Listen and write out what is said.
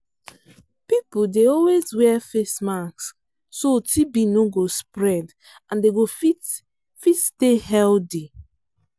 people dey always wear face mask so tb no go spread and dem go fit fit stay healthy.